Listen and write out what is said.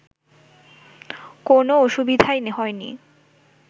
কোনও অসুবিধাই হয়নি